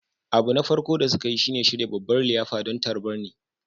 Abu na farko da suka yi shi ne shirya babban liyafa don tarbar ni